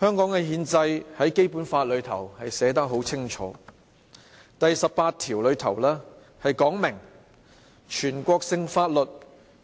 香港的憲制在《基本法》寫得很清楚，第十八條訂明："全國性法律